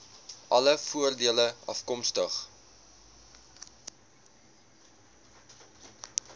alle voordele afkomstig